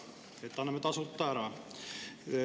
Et anname tasuta ära.